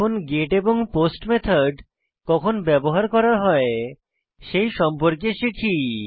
এখন গেট এবং post method কখন ব্যবহার করা হয় সেই সম্পর্কে শিখি